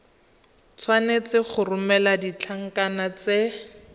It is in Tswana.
tshwanetse go romela ditlankana tse